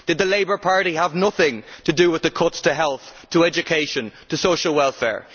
Did the Labour Party have nothing to do with the cuts to health, education and social welfare?